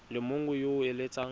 le mongwe yo o eletsang